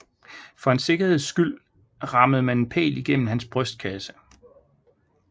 For en sikkerheds skyld rammede man en pæl gennem hans brystkasse